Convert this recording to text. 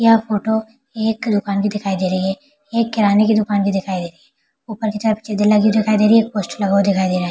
यह फोटो एक दुकान भी दिखाई दे रही है ये किराने की दुकान की दिखाई दे रही है ऊपर के तरफ लगी दिखाई दे रही है पोस्टर लगा हुआ दिखाई दे रहा है ।